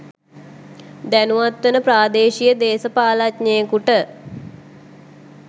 දැනුවත් වන ප්‍රාදේශීය දේශපාලනඥයෙකුට